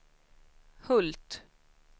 Hult